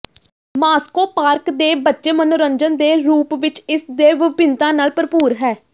Moscow park ਦੇ ਬੱਚੇ ਮਨੋਰੰਜਨ ਦੇ ਰੂਪ ਵਿੱਚ ਇਸ ਦੇ ਵਿਭਿੰਨਤਾ ਨਾਲ ਭਰਪੂਰ ਹੈ